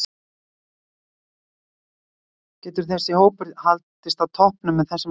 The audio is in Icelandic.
Getur þessi hópur haldist á toppnum með þessum leikstíl?